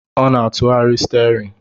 o na-atụgharị steerin